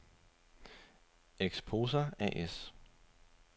Exposa A/S